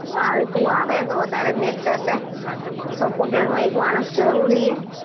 હા તું આવે તો વધારે best રહેશે sapoted માં એક માણસ જરૂરી છે.